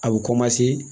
A bɛ